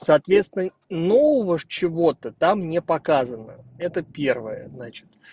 соответственно ну вот чего-то там не показываю это первое значит